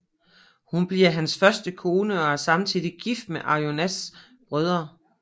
Hun bliver hans første kone og er samtidig gift med Arjunas brødre